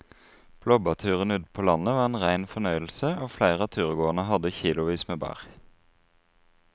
Blåbærturen ute på landet var en rein fornøyelse og flere av turgåerene hadde kilosvis med bær.